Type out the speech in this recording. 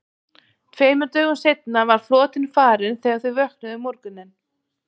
Tveimur dögum seinna var flotinn farinn þegar þau vöknuðu um morguninn.